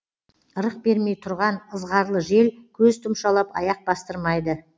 ырық бермей тұрған ызғарлы жел көз тұмшалап аяқ бастырмайды